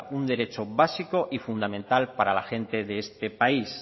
un derecho básico y fundamental para la gente de este país